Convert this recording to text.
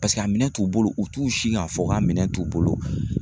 a minɛn t'u bolo u t'u si k'a fɔ k'a minɛn t'u bolo